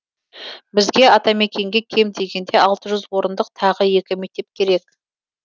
бізге атамекенге кем дегенде алты жүз орындық тағы екі мектеп керек